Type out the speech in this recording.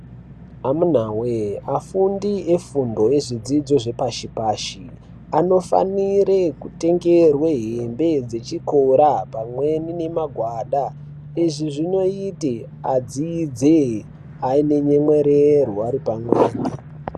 Amunawee afundi efundo ezvidzidzo zvepashi pashi anofanire kutengerwe hembe dzechikora pamweni nemagwada ,izvi zvinoite adzidze ainenyemwererwe ari pamwepo.